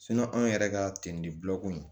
anw yɛrɛ ka tinibulɔ ko in